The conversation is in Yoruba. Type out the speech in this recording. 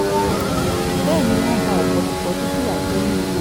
bẹ́ẹ̀ ni wọ́n ba ọ̀pọ̀lọpọ̀ dúkìá jẹ́ nílé rẹ̀